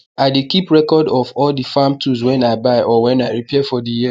i dey keep record of all the farm tools wen i buy or wen i repair for the year